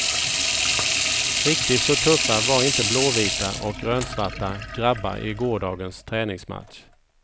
Riktigt så tuffa var inte blåvita och grönsvarta grabbar i gårdagens träningsmatch.